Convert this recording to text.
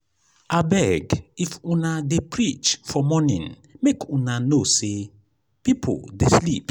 abeg if una dey preach for morning make una know sey pipo dey sleep.